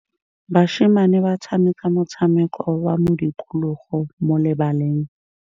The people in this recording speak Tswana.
Basimane ba tshameka motshameko wa modikologô mo lebaleng.